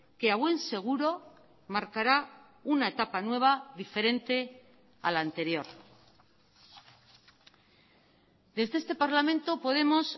que a buen seguro marcará una etapa nueva diferente a la anterior desde este parlamento podemos